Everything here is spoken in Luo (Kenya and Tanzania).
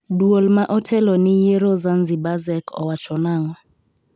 Duol ma otelo ni yiero Zanzibar ZEC owacho nang'o?